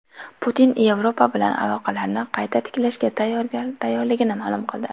Putin Yevropa bilan aloqalarni qayta tiklashga tayyorligini ma’lum qildi.